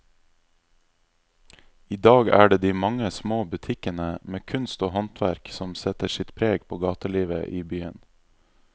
I dag er det de mange små butikkene med kunst og håndverk som setter sitt preg på gatelivet i byen.